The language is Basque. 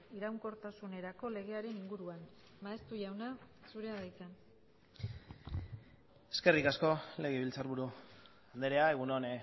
iraunkortasunerako legearen inguruan maeztu jauna zurea da hitza eskerrik asko legebiltzarburu andrea egun on